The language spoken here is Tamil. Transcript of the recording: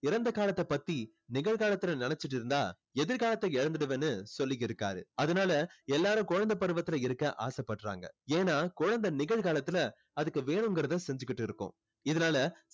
இறந்தகாலத்தை பத்தி நிகழ்காலத்துல நினைச்சிட்டு இருந்தா எதிர்காலத்தை இழந்துடுவன்னு சொல்லி இருக்காரு அதனால எல்லாரும் குழந்தை பருவத்துல இருக்க ஆசை படுறாங்க ஏன்னா குழந்தை நிகழ்காலத்துல அதுக்கு வேணுங்குறத செஞ்சிட்டு இருக்கும் இதனால